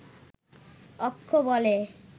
অক্ষ বলে